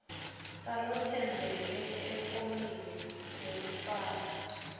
salotsembele efomini lekufaka